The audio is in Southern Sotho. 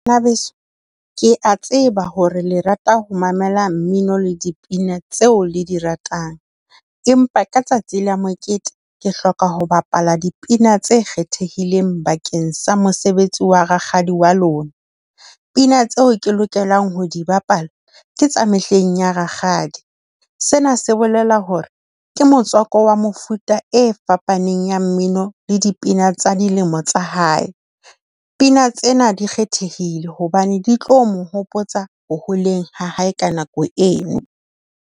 Banabeso ke a tseba hore le rata ho mamela mmino le dipina tseo le di ratang. Empa ka tsatsi la mokete ke hloka ho bapala dipina tse kgethehileng bakeng sa mosebetsi wa rakgadi wa lona. Pina tseo ke lokelang ho di bapala ke tsa mehleng ya rakgadi. Sena se bolela hore ke motswako wa mofuta e fapaneng ya mmino le dipina tsa dilemo tsa hae. Pina tsena di kgethehile hobane di tlo mo hopotsa ho holeng ha hae ka nako eno.